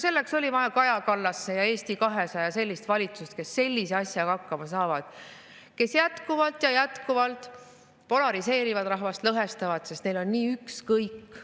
Selleks oli vaja Kaja Kallase ja Eesti 200 valitsust, kes sellise asjaga hakkama saavad, kes jätkuvalt ja jätkuvalt polariseerivad ja lõhestavad rahvast, sest neil on nii ükskõik.